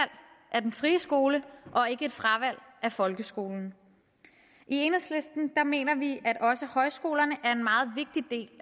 af den frie skole og ikke et fravalg af folkeskolen i enhedslisten mener vi at også højskolerne